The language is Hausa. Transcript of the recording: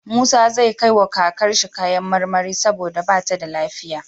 Musa zai kai wa kakar shi kayan marmari saboda bata da lafiya